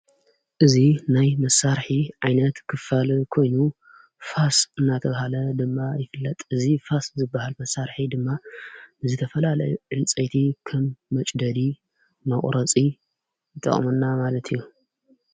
እዙ ናይ መሳርሒ ዓይነት ኽፋል ኮይኑ ፋስ እናተብሃለ ድማ ይፍለጥ እዙ ፋስ ዝበሃል መሣርሒ ድማ ንዘ ተፈልለ ዕንፀይቲ ከም መጭደዲ መቝረፂ ጠኦሙና ማለት እዩ።